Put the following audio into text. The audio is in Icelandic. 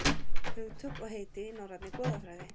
Hugtök og heiti í norrænni goðafræði.